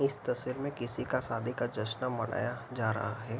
इस तस्वीर में किसी का शादी का जस्न मनाया जा रहा है।